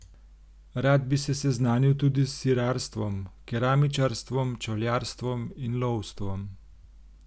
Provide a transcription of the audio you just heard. Rad bi se seznanil tudi s sirarstvom, keramičarstvom, čevljarstvom in lovstvom.